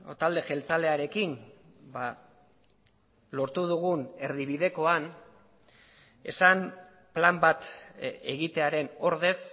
talde jeltzalearekin lortu dugun erdibidekoan esan plan bat egitearen ordez